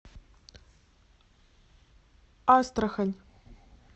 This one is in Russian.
астрахань